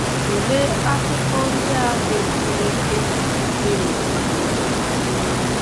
Tụlee akụkọ ndị a dị mkpirikpi si n'ụwa niile.